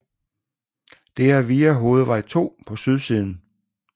Det er via hovedvej 2 på sydsiden